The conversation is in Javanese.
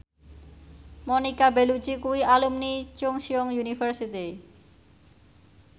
Monica Belluci kuwi alumni Chungceong University